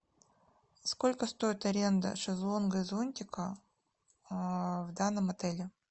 сколько стоит аренда шезлонга и зонтика в данном отеле